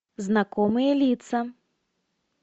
знакомые лица